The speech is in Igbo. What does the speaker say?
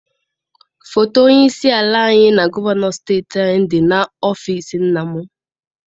Foto onye isi ala anyị na gọvanọ steeti anyị dị n'ọfịịsi nna m.